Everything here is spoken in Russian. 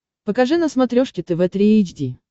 покажи на смотрешке тв три эйч ди